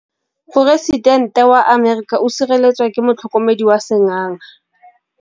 Poresitêntê wa Amerika o sireletswa ke motlhokomedi wa sengaga.